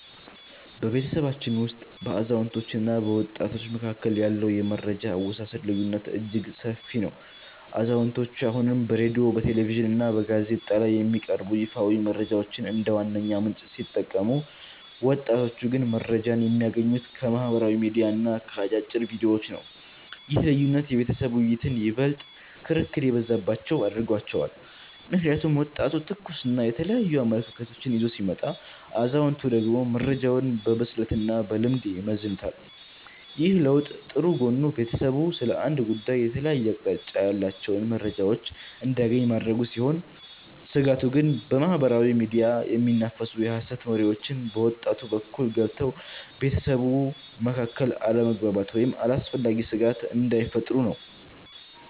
በቤተሰባችን ውስጥ በአዛውንቶችና በወጣቶች መካከል ያለው የመረጃ አወሳሰድ ልዩነት እጅግ ሰፊ ነው። አዛውንቶቹ አሁንም በሬድዮ፣ በቴሌቪዥንና በጋዜጣ ላይ የሚቀርቡ ይፋዊ መረጃዎችን እንደ ዋነኛ ምንጭ ሲጠቀሙ፣ ወጣቶቹ ግን መረጃን የሚያገኙት ከማኅበራዊ ሚዲያዎችና ከአጫጭር ቪዲዮዎች ነው። ይህ ልዩነት የቤተሰብ ውይይቶችን ይበልጥ ክርክር የበዛባቸው አድርጓቸዋል። ምክንያቱም ወጣቱ ትኩስና የተለያዩ አመለካከቶችን ይዞ ሲመጣ፣ አዛውንቶቹ ደግሞ መረጃውን በብስለትና በልምድ ይመዝኑታል። ይህ ለውጥ ጥሩ ጎኑ ቤተሰቡ ስለ አንድ ጉዳይ የተለያየ አቅጣጫ ያላቸውን መረጃዎች እንዲያገኝ ማድረጉ ሲሆን፤ ስጋቱ ግን በማኅበራዊ ሚዲያ የሚናፈሱ የሐሰት ወሬዎች በወጣቱ በኩል ገብተው በቤተሰቡ መካከል አለመግባባት ወይም አላስፈላጊ ስጋት እንዳይፈጥሩ ነው።